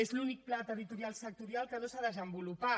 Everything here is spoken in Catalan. és l’únic pla territorial sectorial que no s’ha desenvolupat